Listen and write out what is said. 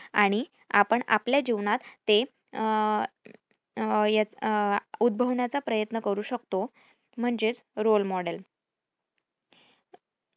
आणि आपण आपल्या जीवनात ते अह अं उद्भवण्याचा प्रयत्न करू शकतो. म्हणजेच role model